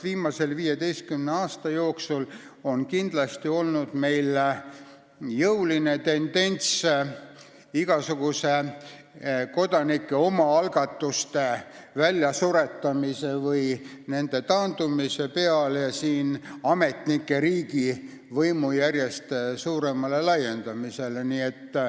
Viimase 15 aasta jooksul on meil olnud jõuline tendents suretada välja igasuguseid kodanike omaalgatusi, nii et nende osa taanduks ja ametnike riigi võim järjest laieneks.